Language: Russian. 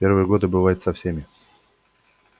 в первые годы бывает со всеми